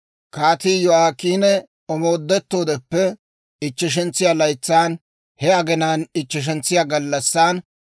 Kaatii Yo'aakiini omoodettoodeppe ichcheshantsiyaa laytsan, he aginaappe ichcheshentsiyaa gallassaan,